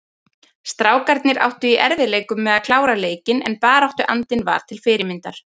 Strákarnir áttu í erfiðleikum með að klára leikinn en baráttuandinn var til fyrirmyndar.